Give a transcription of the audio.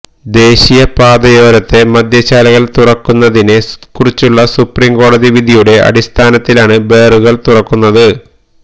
ദേശീയ പാതയോരത്തെ മദ്യശാലകള് തുറക്കുന്നതിനെ കുറിച്ചുള്ള സുപ്രീം കോടതി വിധിയുടെ അടിസ്ഥാനത്തിലാണ് ബാറുകള് തുറക്കുന്നത്